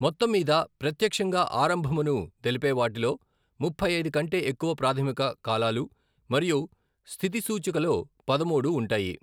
మొత్తం మీద ప్రత్యక్షంగా ఆరంభమును దెలిపేవాటిలోముప్పై ఐదు కంటే ఎక్కువ ప్రాథమిక కాలాలు మరియు స్థితిసూచికలో పదమూడు ఉంటాయి.